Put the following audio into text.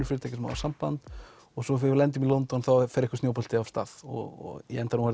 fyrirtæki sem hafa samband og svo þegar við lendum í London þá fer einhver snjóbolti af stað og í endann voru